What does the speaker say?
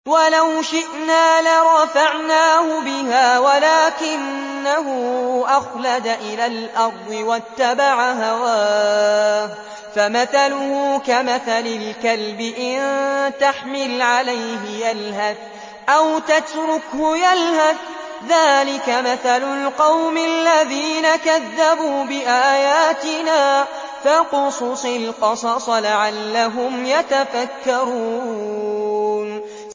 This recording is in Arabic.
وَلَوْ شِئْنَا لَرَفَعْنَاهُ بِهَا وَلَٰكِنَّهُ أَخْلَدَ إِلَى الْأَرْضِ وَاتَّبَعَ هَوَاهُ ۚ فَمَثَلُهُ كَمَثَلِ الْكَلْبِ إِن تَحْمِلْ عَلَيْهِ يَلْهَثْ أَوْ تَتْرُكْهُ يَلْهَث ۚ ذَّٰلِكَ مَثَلُ الْقَوْمِ الَّذِينَ كَذَّبُوا بِآيَاتِنَا ۚ فَاقْصُصِ الْقَصَصَ لَعَلَّهُمْ يَتَفَكَّرُونَ